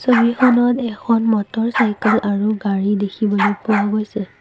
ছবিখনত এখন মটৰচাইকেল আৰু গাড়ী দেখিবলৈ পোৱা গৈছে।